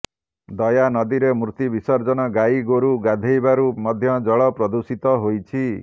ଦୟା ନଦୀରେ ମୂର୍ତ୍ତି ବିସର୍ଜନ ଗାଈଗୋରୁ ଗାଧୋଇବାରୁ ମଧ୍ୟ ଜଳ ପ୍ରଦୂଷିତ ହୋଇଛି